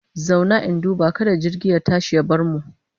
Zauna! in duba kada jirgi ya tashi ya bar mu.